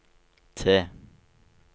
T